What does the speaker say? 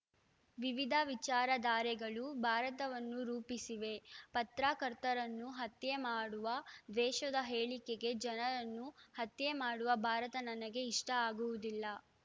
ವಿವಿಧ ವಿಚಾರಧಾರೆಗಳು ಭಾರತವನ್ನು ರೂಪಿಸಿವೆ ಪತ್ರಕರ್ತರನ್ನು ಹತ್ಯೆ ಮಾಡುವ ದ್ವೇಷದ ಹೇಳಿಕೆಗೆ ಜನರನ್ನು ಹತ್ಯೆ ಮಾಡುವ ಭಾರತ ನನಗೆ ಇಷ್ಟಆಗುವುದಿಲ್ಲ